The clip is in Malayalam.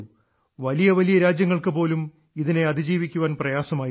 വലിയ വലിയ രാജ്യങ്ങൾക്ക് പോലും ഇതിനെ അതിജീവിക്കാൻ പ്രയാസം ആയിരുന്നു